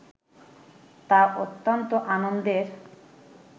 তা অত্যান্ত আনন্দের